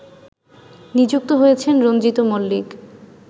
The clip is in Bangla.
নিযুক্ত হয়েছেন রঞ্জিত মল্লিক